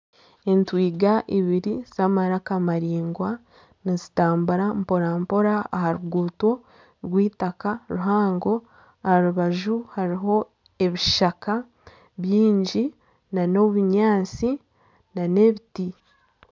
Entwiga ibiri zamaraka maraingwa nizitambura mpora-mpora aha ruguuto rw'eitaka ruhango aharubaju hariho ebishaka byingi nana obunyantsi nana ebiti